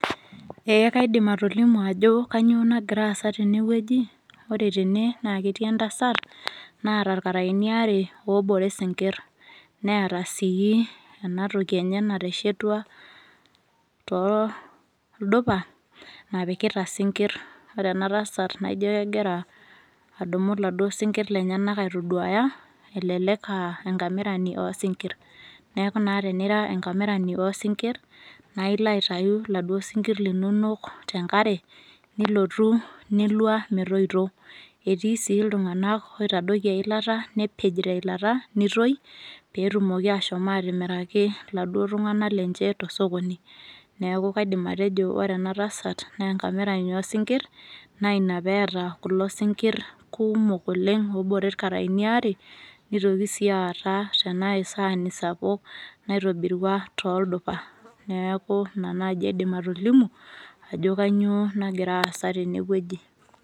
Eeh kaidim atolimu ajo kanyoo nagiraasa tenewueji. Oretene naaketii entasat naata ilkaraini are oobore sinkirr, neata sii enatoki enye nateshetua tooldupa napikita sinkirr ore enatasat naaijo kegira adumu laduo sinkirr lenyenak aitoduaya elelek [aa] enkamirani oosinkirr. Neaku naa tenira enkamirani oosinkirr naailoatayu laduo sinkirr linonok tenkare nilotu nilua metoito. Etii sii iltung'anak oitadoiki eilata nepej teilata neitoi peetumoki ashom atimiraki laduo tung'anak lenche tosokoni. Neaku kaidim atejo ore enatasat neenkamirani oosinkirr naaina peeta kulo sinkirr kuumok oleng' oobore ilkaraini aare neitoki sii aata tenaisaani sapuk naitobirua tooldupa. Neaku ina naji aidim atolimu ajo kanyoo nagiraasa tenewueji.